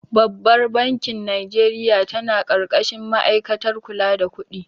Babbar bankin Najeriya ta na ƙarƙashin ma'aikatar kula da kudi